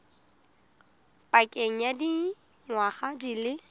pakeng ya dingwaga di le